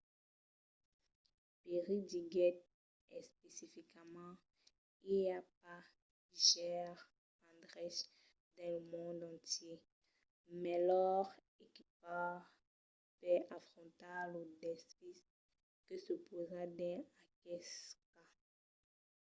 perry diguèt especificament i a pas gaires endreches dins lo mond entièr melhor equipats per afrontar lo desfís que se pausa dins aqueste cas.